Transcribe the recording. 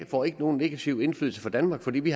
får ikke nogen negativ indflydelse for danmark fordi vi